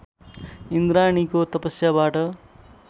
इन्द्राणीको तपस्याबाट